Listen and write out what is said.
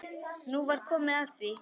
Nú var komið að því.